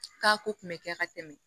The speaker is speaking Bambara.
K'a ko kun bɛ kɛ ka tɛmɛ